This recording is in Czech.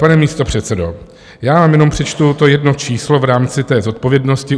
Pane místopředsedo, já vám jenom přečtu to jedno číslo v rámci té zodpovědnosti.